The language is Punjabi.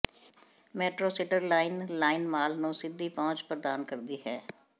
ਮੈਟਰੋ ਸਿਟਰ ਲਾਈਨ ਲਾਈਨ ਮਾਲ ਨੂੰ ਸਿੱਧੀ ਪਹੁੰਚ ਪ੍ਰਦਾਨ ਕਰਦੀ ਹੈ